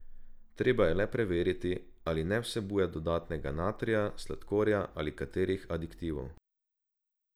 Treba je le preveriti, ali ne vsebuje dodatnega natrija, sladkorja ali katerih aditivov.